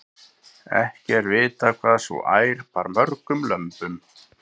ekki er vitað hvað sú ær bar mörgum lömbum